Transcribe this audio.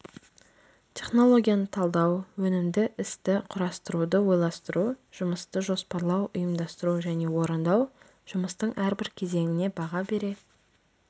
технологияны талдау өнімді істі құрастыруды ойластыру жұмысты жоспарлау ұйымдастыру және орындау жұмыстың әрбір кезеңіне баға бере